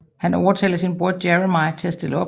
Han overtaler sin bror Jeremy til at stille op